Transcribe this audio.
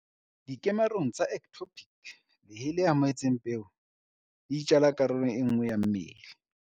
Dikemarong tsa ectopic, lehe le amohetseng peo le itjala karolong enngwe ya mmele.